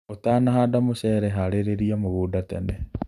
ũtanahanda mũcere harĩria mũgunda tene.